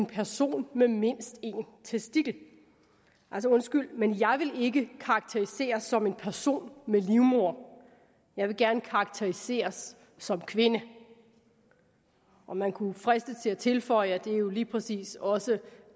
person med mindst en testikel altså undskyld men jeg vil ikke karakteriseres som en person med livmoder jeg vil gerne karakteriseres som kvinde og man kunne fristes til at tilføje at det jo lige præcis også